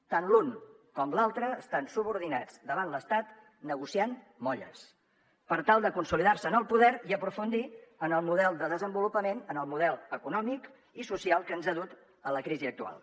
tant l’un com l’altre estan subordinats davant l’estat negociant molles per tal de consolidar se en el poder i aprofundir en el model de desenvolupament en el model econòmic i social que ens ha dut a la crisi actual